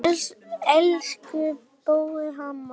Elsku Bóel amma.